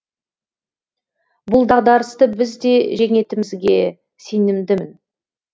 бұл дағдарысты біз де жеңетімізге сенімдімін